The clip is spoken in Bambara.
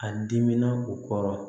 A dimina o kɔrɔ